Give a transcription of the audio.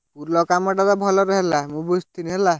ପୁଲ କାମ ଟା ତ ଭଲରେ ହେଲା ମୁଁ ବୁଝିଥିଲି ହେଲା।